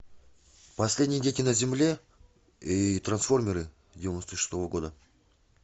последние дети на земле и трансформеры девяносто шестого года